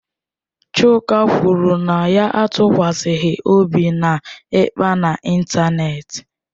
Chuka kwuru na ya atụkwasịghị obi na ịkpa n'ịntanetị.